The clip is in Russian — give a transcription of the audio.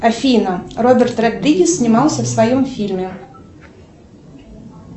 афина роберт родригез снимался в своем фильме